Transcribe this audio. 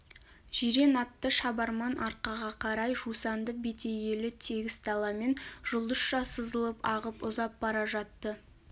жирен атты шабарман арқаға қарай жусанды бетегелі тегіс даламен жұлдызша сызылып ағып ұзап бара жатты